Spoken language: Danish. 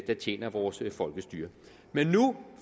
tjener vores folkestyre men nu